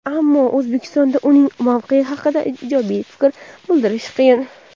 ammo O‘zbekistonda uning mavqeyi haqida ijobiy fikr bildirish qiyin.